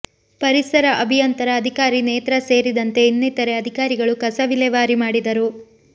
ಪರಿಸರ ಅಭಿಯಂತರ ಅಧಿಕಾರಿ ನೇತ್ರಾ ಸೇರಿದಂತೆ ಇನ್ನಿತರೆ ಅಧಿಕಾರಿಗಳು ಕಸ ವಿಲೇವಾರಿ ಮಾಡಿದರು